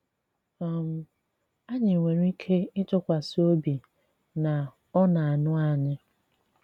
um Anyị nwere ike ịtụkwasị obi na Ọ na-anụ anyị.